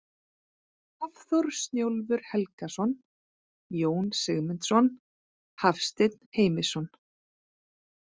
Hafþór Snjólfur Helgason, Jón Sigmundsson, Hafsteinn Heimisson.